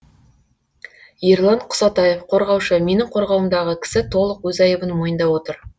ерлан құсатаев қорғаушы менің қорғауымдағы кісі толық өз айыбын мойындап отыр